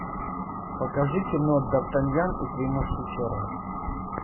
покажи кино д артаньян и три мушкетера